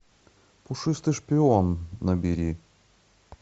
пушистый шпион набери